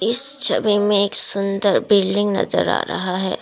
इस छवि में एक सुंदर बिल्डिंग नजर आ रहा है।